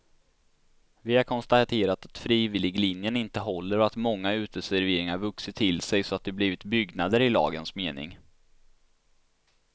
Vi har konstaterat att frivilliglinjen inte håller och att många uteserveringar vuxit till sig så att de blivit byggnader i lagens mening.